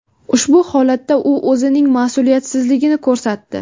Ushbu holatda u o‘zining mas’uliyatsizligini ko‘rsatdi.